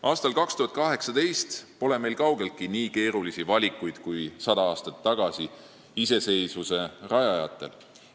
Aastal 2018 pole meie ees kaugeltki nii keerulised valikud kui 100 aastat tagasi iseseisvuse rajajatel.